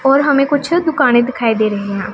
और हमें कुछ दुकानें दिखाई दे रही हैं।